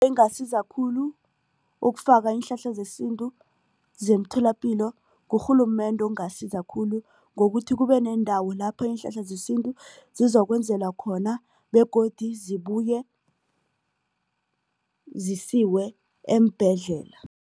Engasiza khulu ukufaka iinhlahla zesintu zemtholapilo ngurhulumende ongasiza khulu ngokuthi kube nendawo lapho iinhlahla zesintu sizokwenzelwa khona begodu zibuye zisiwe eembhedlela.